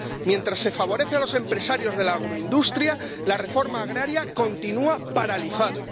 Mientras se favorece a los empresarios de la agroindustria, la reforma agraria continúa paralizada.